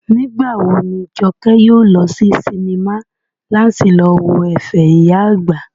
Nígbà wo ni Jọkẹ́ yóò lọ sí sinimá láti lọ wo ẹ̀fẹ̀ ìyá àgbà?